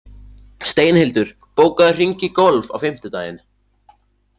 Steinhildur, bókaðu hring í golf á fimmtudaginn.